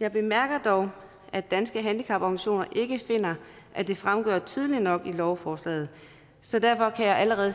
jeg bemærker dog at danske handicaporganisationer ikke finder at det fremgår tydeligt nok af lovforslaget så derfor kan jeg allerede